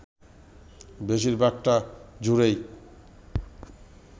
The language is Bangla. বেশিরভাগটা জুড়েই